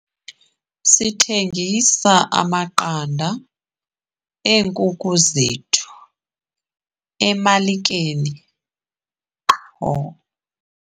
Sithengisa amaqanda eenkuku zethu emalikeni qho.